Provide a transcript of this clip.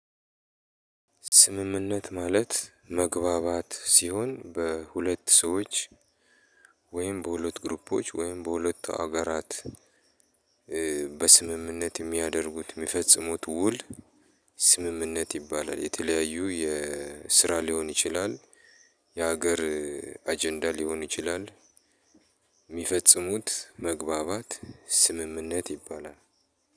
ስምምነት ማለት መግባባት ሲሆን በሁለት ሰዎች ወይም በሁለት ግሩፖች ወይም በሁለት ሀገራት በስምምነት የሚያደርጉት የሚፈጽሙት ውል ስምምነት ይባላል። የተለያዩ የስራ ሊሆን ይችላል። የሀገር አጀንዳ ሊሆን ይችላል። የሚፈጽሙት መግባባት ስምምነት ይባላል።